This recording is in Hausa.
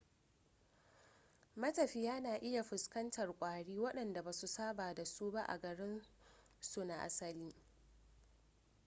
matafiya na iya fuskantar kwari wadanda basu saba dasu ba a garin su na asali